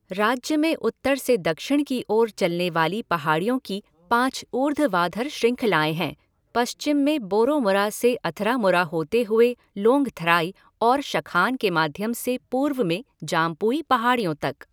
राज्य में उत्तर से दक्षिण की ओर चलने वाली पहाड़ियों की पाँच ऊर्ध्वाधर श्रृंखलाएँ हैं, पश्चिम में बोरोमुरा से अथरामुरा होते हुए लोंगथराई और शखान के माध्यम से पूर्व में जाम्पुई पहाड़ियों तक।